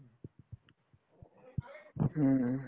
হুম উম